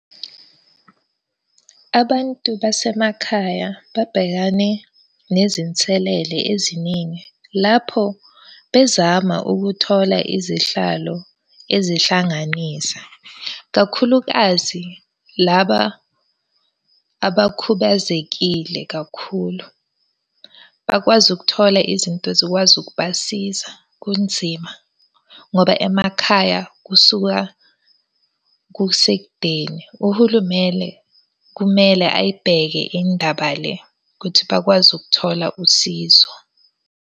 Abantu basemakhaya babhekane nezinselele eziningi lapho bezama ukuthola izihlalo ezihlanganisa kakhulukazi laba abakhubazekile kakhulu, bakwazi ukuthola izinto zikwazi ukubasiza kunzima ngoba emakhaya kusuka kusekudeni. Uhulumele kumele ayibheke indaba le ukuthi bakwazi ukuthola usizo.